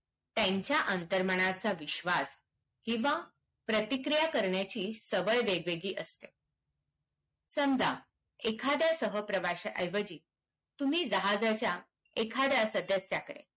त्यांच्या अंतर्मनाचा विश्वास किवा प्रतिक्रिया करण्याची सवय वेगवेगळी असते समझा एखाद्या सहप्रवश्या एवजी तुम्ही जहाजाच्या एखाद्या सदस्याकडे